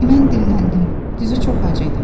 Mən dilləndim, düzü çox ac idim.